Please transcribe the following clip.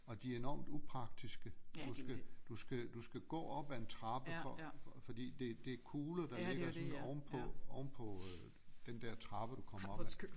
Og de er enormt upraktiske du skal du skal du skal gå op af en trappe for fordi det det er kugler der ligger sådan ovenpå ovenpå øh den der trappe du kommer op af